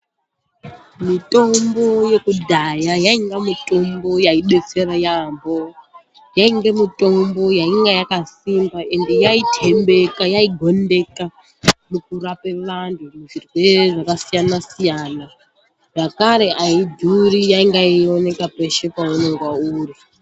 Mitombo yekudhaya yainga mitombo yaidetsera yaambo, yainge mitombo yakasimba endi yaitembeka, yaigondeka mukurape anhu zvirwere zvakasiyana-siyana, zvakare aidhuri yainga yeioneka peshe paunonga uri.